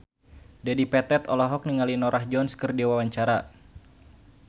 Dedi Petet olohok ningali Norah Jones keur diwawancara